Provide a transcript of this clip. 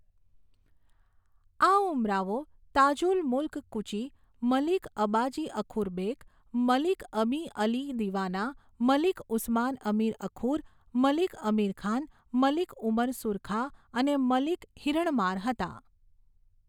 આ ઉમરાવો તાજુલ મુલ્ક કુચી, મલિક અબાજી અખુર બેક, મલિક અમી અલી દિવાના, મલિક ઉસ્માન અમીર અખુર, મલિક અમીર ખાન, મલિક ઉમર સુરખા અને મલિક હિરણમાર હતા.